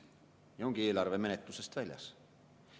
Ja ongi eelarve menetlusest väljas.